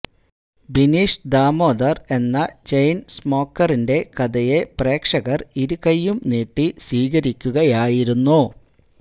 ബിനീഷ് ദാമോദര് എന്ന ചെയ്ന് സ്മോക്കറിന്രെ കഥയെ പ്രേക്ഷകര് ഇരുകൈയ്യും നീട്ടി സ്വീകരിക്കുകയായിരുന്നു